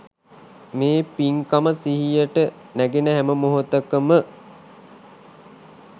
මේ පින්කම සිහියට නැගෙන හැම මොහාතක ම